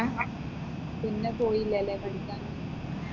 പിന്നെ പോയിലല്ലേ പഠിക്കാൻ